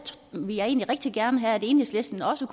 ville jeg egentlig rigtig gerne have at enhedslisten også